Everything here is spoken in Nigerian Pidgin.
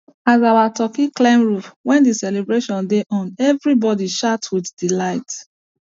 as our turkey climb roof when the celebration dey on everybody shout with delight